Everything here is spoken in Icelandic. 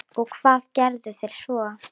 Og hvað gerðuð þér svo?